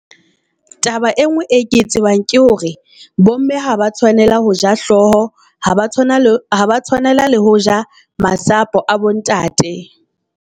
Taba e ngwe e ke e tsebang ke hore bo mme ha ba tshwanela ho ja hlooho. Ha ba tshwana le ha ba tshwanela ho ja masapo a bo ntate.